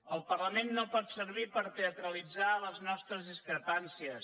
el parlament no pot servir per teatralitzar les nostres discrepàncies